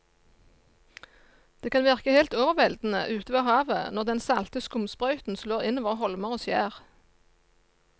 Det kan virke helt overveldende ute ved havet når den salte skumsprøyten slår innover holmer og skjær.